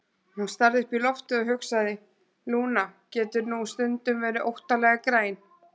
Hún starði upp í loftið og hugsaði: Lúna getur nú stundum verið óttalega græn.